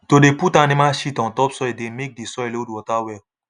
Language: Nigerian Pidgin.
to dey put animal shit on top soil dey make the soil hold water well